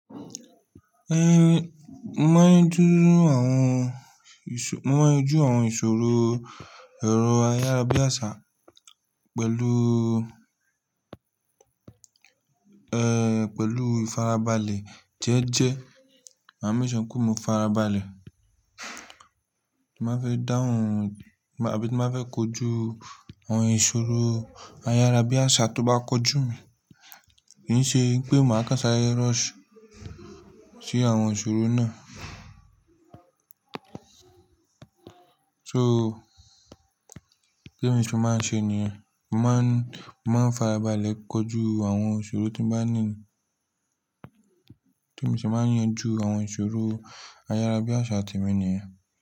Mo n yanjú àwọn ìṣòro, mo n yanjú àwọn ìṣòro èrò ayárabíàṣá pẹ̀lú, eh, pẹ̀lú ìfarabalẹ̀ jẹ́ẹ́jẹ́. Màá make sure pe mo farabalẹ̀, tí màá fi dáhùn àbí tí màá fẹ́ kojú àwọn ìṣòro ayárabíàṣá tó bá kojú mi. Kì í ṣe pé màá ko sáre rush sí àwọn ìṣòro náà. So, témi se máa n ṣe nìyẹn? Mo máa ń, mo máa ń farabalẹ̀ kojú àwọn ìṣòro tí mo bá ní. Tí n se máa yanjú àwọn ìṣòro ayárabíàṣá ti mi ni?